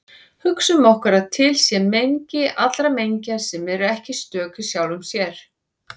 Hugsum okkur að til sé mengi allra mengja sem eru ekki stök í sjálfum sér.